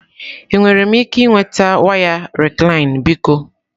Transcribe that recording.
Enwere m ike ịnweta waya Recline biko?